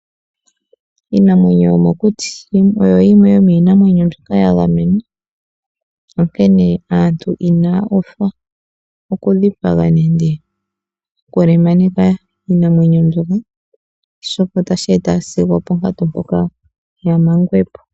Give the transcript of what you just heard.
Iinamwenyo yomokuti oyo yimwe yomiinamwenyo mbyoka yagamenwa onkene aantu inaa uthwa okudhipaga nende okulemaneka iinamwenyo mbyoka oshoka etashi eta sigo opo nkatu mpoka yamangwepo.